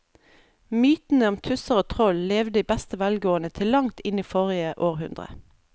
Mytene om tusser og troll levde i beste velgående til langt inn i forrige århundre.